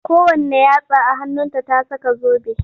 Kowanne yatsa a hannunta ta saka zobe.